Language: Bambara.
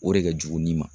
O de ka jugu ni ma